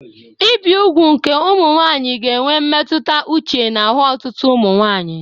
Ibi ugwu nke ụmụ nwanyị ga-enwe mmetụta uche n'ahụ ọtụtụ ụmụ nwanyị